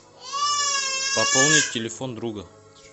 пополнить телефон друга